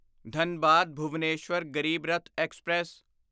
Dhanbad Bhubaneswar Garib Rath express